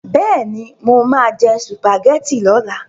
Bẹ́ẹ̀ni, mo máa jẹ sùpàgẹ́tì lọ́la.